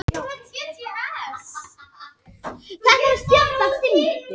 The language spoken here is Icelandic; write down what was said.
Í þessu limgerði sem myndar völundarhús eru býsna mörg tré.